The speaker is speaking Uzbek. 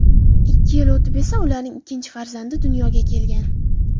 Ikki yil o‘tib esa ularning ikkinchi farzandi dunyoga kelgan.